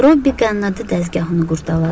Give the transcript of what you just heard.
Robbi qənnadı dəzgahını qurdaladı.